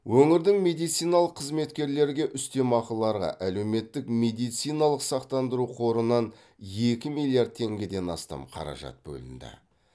өңірдің медициналық қызметкерлерге үстемеақыларға әлеуметтік медициналық сақтандыру қорынан екі миллиард теңгеден астам қаражат бөлінді